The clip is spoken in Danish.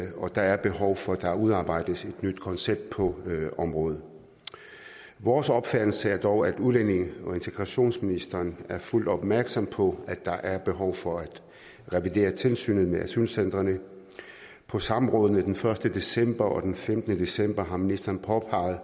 der er behov for at der udarbejdes et nyt koncept på området vores opfattelse er dog at udlændinge og integrationsministeren er fuldt opmærksom på at der er behov for at revidere tilsynet med asylcentrene på samrådene den første december og den femtende december har ministeren påpeget